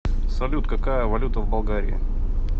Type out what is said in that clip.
салют какая валюта в болгарии